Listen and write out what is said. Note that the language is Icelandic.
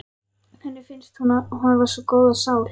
Henni finnst hún hafa góða sál.